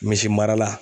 Misi mara la